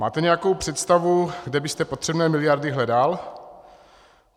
Máte nějakou představu, kde byste potřebné miliardy hledal?